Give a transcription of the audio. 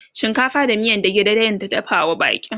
shinkafa da miyan dage dage ta dafawa baƙin